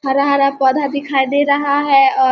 हरा-हरा पौधा दिखई दे रहा है औ --